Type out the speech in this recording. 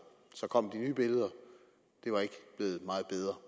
så kom de nye billeder og det var ikke blevet meget bedre